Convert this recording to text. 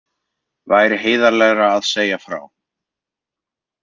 Væri heiðarlegra að segja frá